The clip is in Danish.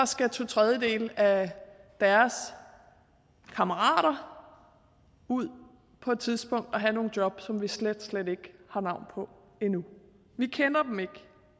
skal to tredjedele af deres kammerater ud på et tidspunkt og have nogle jobs som vi slet slet ikke har navn på endnu vi kender dem ikke